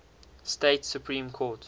states supreme court